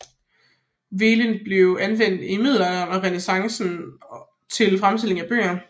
Velin blev anvendt i middelalderen og renæssancen til fremstilling af bøger